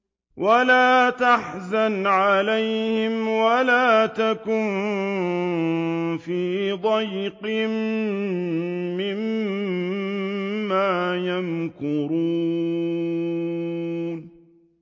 وَلَا تَحْزَنْ عَلَيْهِمْ وَلَا تَكُن فِي ضَيْقٍ مِّمَّا يَمْكُرُونَ